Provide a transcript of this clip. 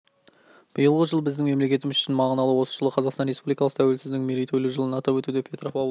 биылғы жыл біздің мемлекетіміз үшін мағыналы осы жылы қазақстан республикасы тәуелсіздігінің мерейтойлы жылын атап өтуде петропавлда